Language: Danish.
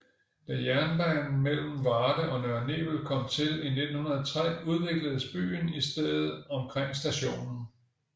Da jernbanen mellem Varde og Nørre Nebel kom til i 1903 udvikledes byen i stedet omkring stationen